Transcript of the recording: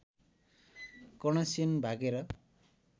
कर्णसेन भागेर